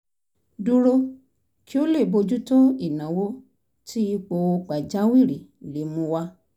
dúró kí ó lè bójú tó ìnáwó tí ipò pàjáwìrì lè mú wá